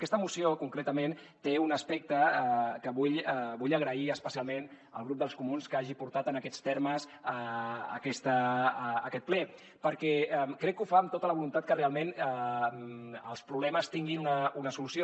aquesta moció concretament té un aspecte que vull agrair especialment al grup dels comuns que hagi portat en aquests termes a aquest ple perquè crec que ho fa amb tota la voluntat que realment els problemes tinguin una solució